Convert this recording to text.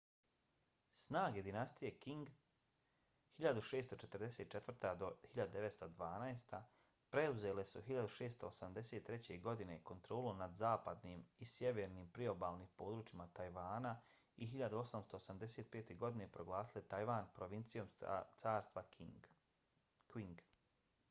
snage dinastije qing 1644-1912 preuzele su 1683. godine kontrolu nad zapadnim i sjevernim priobalnim područjima tajvana i 1885. godine proglasile tajvan provincijom carstva qing